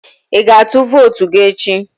Ị ga-atụ vootu gị echi?